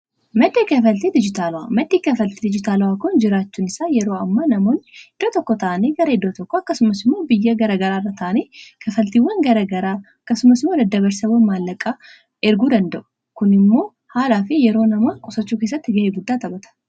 maxxii kafaltii dijitaala'a maxxii kafaltii dijitaala'aa kun jiraachuun isaa yeroo ammaa namoonni dirra tokko ta'anii garaedo'o tokko akkasumasimoo biyya garagaraarra ta'anii kafaltiiwwan garagaraa akkasumasimoo daddabarsawwan maallaqaa erguu danda'u kun immoo haalaa fi yeroo nama qosachuu keessatti ga'ee guddaa tabata